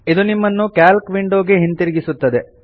ಇದು ನಿಮ್ಮನ್ನು calc window ಗೆ ಹಿಂತಿರುಗಿಸುತ್ತದೆ